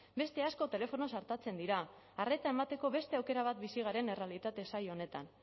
beste asko telefonoz artatzen dira arreta emateko beste aukera bat bizi garen errealitate zail honetan